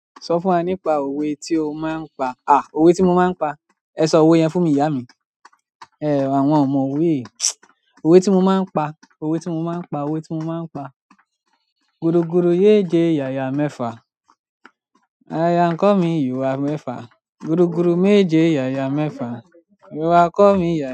Sọ fún wa nípa òwe tí o máa ń pa. À, òwe tí mo máa ń pa? Ẹ sọ òwe yẹn fún mi ìyá mi. Ẹ̀ àwọn ọmọ òwe òwe tí mo máa ń pa, òwe tí mo máa ń pa, òwe tí mo máa ń pa. Gudu gudu méje yaya mẹfa, aya kọ mí yà wá mẹfa. Gudugudu méje yaya mẹfa, ìwà kọ mí yà.